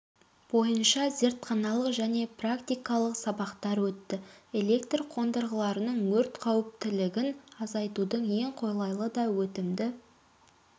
бойынша зертханалық және практикалық сабақтар өтті электр қондырғыларының өрт қауіптілігін азайтудың ең қолайлы да өтімді